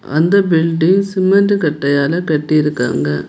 அந்த building cement கட்டையால் கட்டியிருக்காங்க.